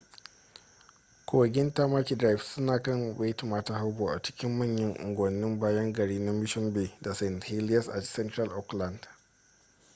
kogin tamaki drive suna kan waitemata harbor a cikin manyan unguwannin bayan gari na mission bay da st heliers a central auckland